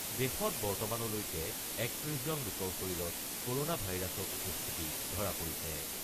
দেশত বৰ্তমানলৈকে ৩১জন লোকৰ শৰীৰত ক'ৰ'না ভাইৰাছৰ উপস্থিতি ধৰা পৰিছে।